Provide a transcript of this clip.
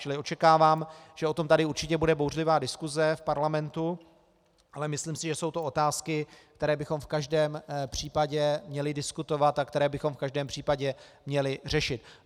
Čili očekávám, že o tom tady určitě bude bouřlivá diskuse v parlamentu, ale myslím si, že jsou to otázky, které bychom v každém případě měli diskutovat a které bychom v každém případě měli řešit.